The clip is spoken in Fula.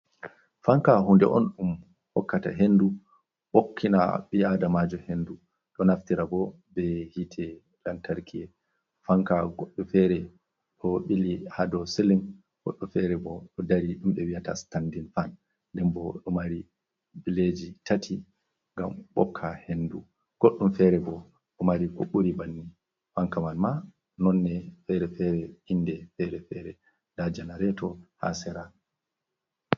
Fanka hunde on ɗum hokkata hendu ɓokkina ɓi’adamajo hendu, ɗo naftira bo be hitte lantarki fanka goɗɗo fere ɗo ɓili ha dou silling, goɗɗo fere bo ɗo dari ɗum ɓe wiyata standin fan, ɗen bo ɗo mari bileji bileji tati ngam ɓokka hendu, goɗɗum fere bo ɗo mari ko ɓuri bannin fanka mai ma nonne fere-fere, inde fere-fere, nda janareto ha sera.